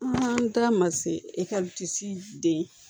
An ta ma se den